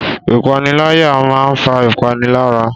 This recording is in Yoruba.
Ìpániláyà máa ń fa ìpalára